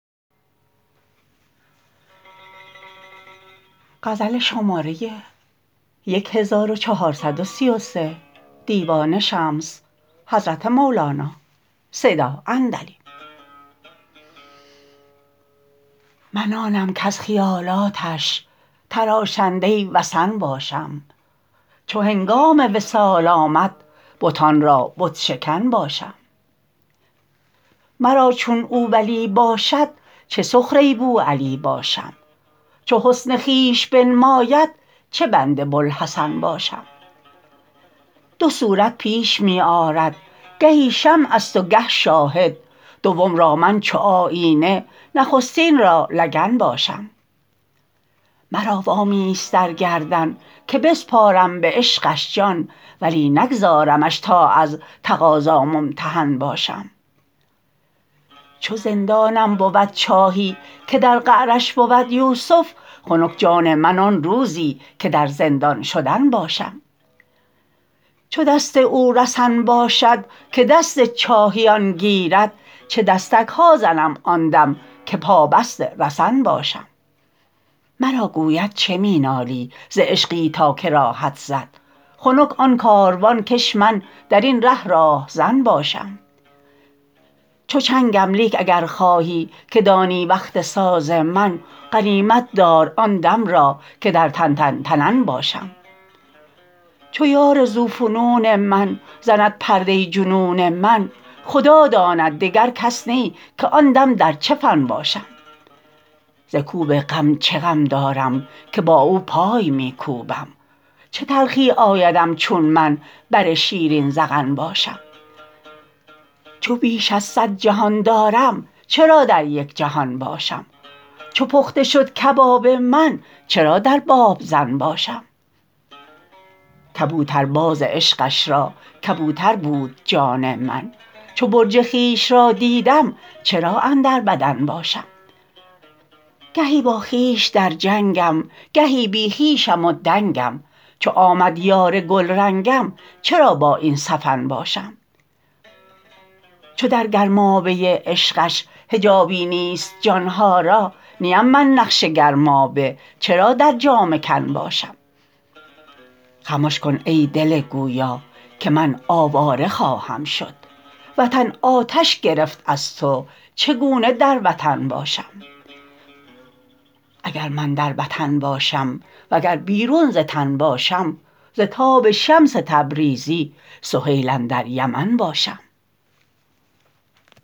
من آنم کز خیالاتش تراشنده وثن باشم چو هنگام وصال آمد بتان را بت شکن باشم مرا چون او ولی باشد چه سخره بوعلی باشم چو حسن خویش بنماید چه بند بوالحسن باشم دو صورت پیش می آرد گهی شمع است و گه شاهد دوم را من چو آیینه نخستین را لگن باشم مرا وامی است در گردن که بسپارم به عشقش جان ولی نگزارمش تا از تقاضا ممتحن باشم چو زندانم بود چاهی که در قعرش بود یوسف خنک جان من آن روزی که در زندان شدن باشم چو دست او رسن باشد که دست چاهیان گیرد چه دستک ها زنم آن دم که پابست رسن باشم مرا گوید چه می نالی ز عشقی تا که راهت زد خنک آن کاروان کش من در این ره راه زن باشم چو چنگم لیک اگر خواهی که دانی وقت ساز من غنیمت دار آن دم را که در تن تن تنن باشم چو یار ذوفنون من زند پرده جنون من خدا داند دگر کس نی که آن دم در چه فن باشم ز کوب غم چه غم دارم که با او پای می کوبم چه تلخی آیدم چون من بر شیرین ذقن باشم چو بیش از صد جهان دارم چرا در یک جهان باشم چو پخته شد کباب من چرا در بابزن باشم کبوترباز عشقش را کبوتر بود جان من چو برج خویش را دیدم چرا اندر بدن باشم گهی با خویش در جنگم گهی بی خویشم و دنگم چو آمد یار گلرنگم چرا با این سه فن باشم چو در گرمابه عشقش حجابی نیست جان ها را نیم من نقش گرمابه چرا در جامه کن باشم خمش کن ای دل گویا که من آواره خواهم شد وطن آتش گرفت از تو چگونه در وطن باشم اگر من در وطن باشم وگر بیرون ز تن باشم ز تاب شمس تبریزی سهیل اندر یمن باشم